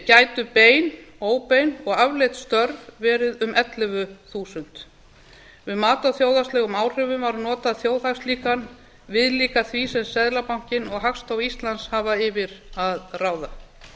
gætu bein óbein og afleidd störf verið um ellefu þúsund við mat á þjóðhagslegu áhrifum var notað þjóðhagslíkan viðlíka því sem seðlabankinn og hagstofa íslands hafa yfir að ráða